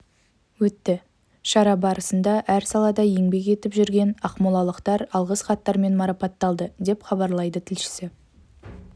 өтті шара барысында әр салада еңбек етіп жүрген ақмолалықтар алғыс хаттармен марапатталды деп хабарлайды тілшісі